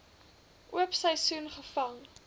oop seisoen gevang